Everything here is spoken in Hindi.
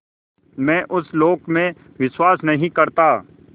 मैं उस लोक में विश्वास नहीं करता